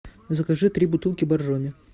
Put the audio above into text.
закажи три бутылки боржоми